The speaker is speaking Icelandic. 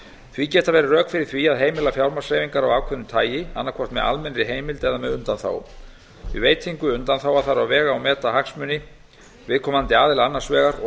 því geta verið rök fyrir því að heimila fjármagnshreyfingar af ákveðnu tagi annað hvort með almennri heimild eða með undanþágum við veitingu undanþága þarf að vega og meta hagsmuni viðkomandi aðila annars vegar og